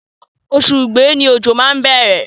Oṣù igbe ni ojo má ń bẹ̀rẹ̀.